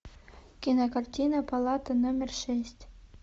кинокартина палата номер шесть